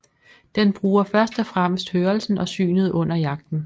Den bruger først og fremmest hørelsen og synet under jagten